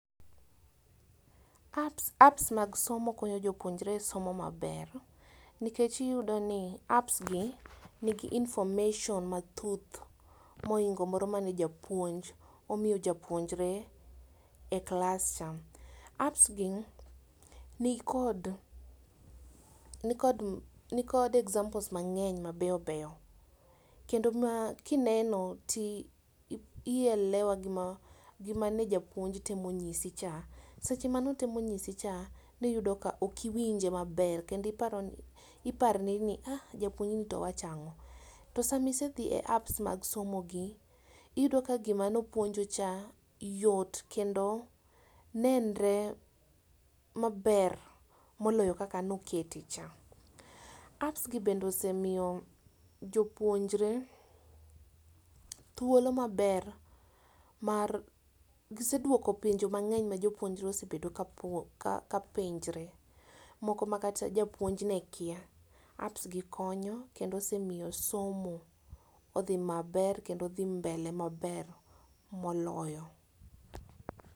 Apps apps mag somo konyo jopuonjre e somo maber, nikech iyudo ni apps gi nigi information mathuth moingo moro mane japuonj omio japuonjre e klas cha. Apps gi nikod nikod nikod examples mang'eny mabeyobeyo, kendo makineno ti i ielewa gima gima ne japuonj temo nyisi cha. Seche manotemo nyisi cha niyudoka okiwinje maber kendo iparoni iparri ni ah! japuonjni towachang'o. To samisedhie apps mag somo gi iyudo ka gima nopuonju cha yot kendo nenre maber moloyo kaka nokete cha. Apps gi bende osemio jopuonjre thuolo maber mar giseduoko penjo mang'eny ma jopuonjre osebedo ka puo ka ka penjre. Moko makata japuonj ne kia, apps gi konyo kendo osemio somo odhi maber kendo odhi mbele maber moloyo.